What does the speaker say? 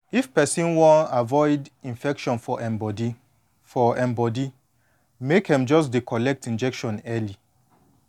if person wan avoid infection for em body for em body make em just dey collect injection early